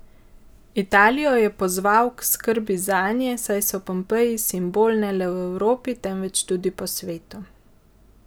Italijo je pozval k skrbi zanje, saj so Pompeji simbol ne le v Evropi, temveč tudi v svetu.